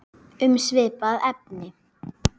Um svipað efni